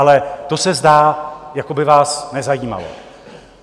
Ale to se zdá, jako by vás nezajímalo.